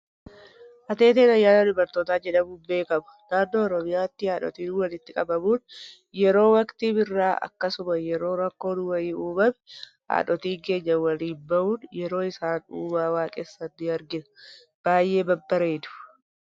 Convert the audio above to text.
Ateeteen ayyaana dubartootaa jedhamuun beekama. Naannoo Oromiyaatti haadhotiin walitti qabamuun yeroo waktii birraa akkasuma yeroo rakkoon wayii uumame, haadhotiin keenya waliin bhuun yeroo isaan uumaa waaqessan ni argina. Baayyee babbareedu.